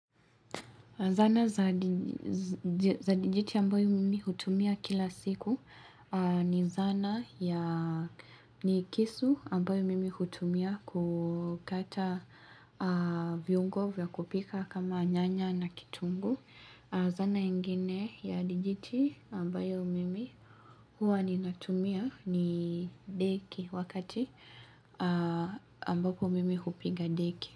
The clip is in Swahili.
Zana za dijiti ambayo mimi hutumia kila siku ni zana ya ni kisu ambayo mimi hutumia kukata viungo vya kupika kama nyanya na kitungu. Zana ingine ya dijiti ambayo mimi huwa ninatumia ni deki wakati ambapo mimi hupiga deki.